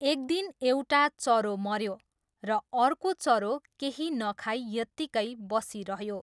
एकदिन एउटा चरो मऱ्यो र अर्को चरो केही नखाई यतिकै बसिरह्यो।